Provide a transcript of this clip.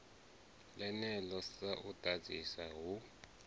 ḽeneḽo sa u ḓadzisa hu